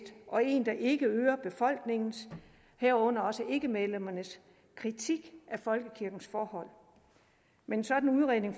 og en der ikke øger befolkningens herunder også ikkemedlemmernes kritik af folkekirkens forhold men en sådan udredning